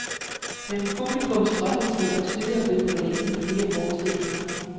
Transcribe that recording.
Men publikum strømmer til, og stykket er blevet forlænget med flere forestillinger.